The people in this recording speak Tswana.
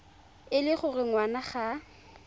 e le gore ngwana ga